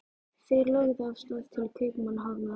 Þeir lögðu af stað til Kaupmannahafnar.